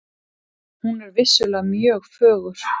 Hún er vissulega mjög fögur.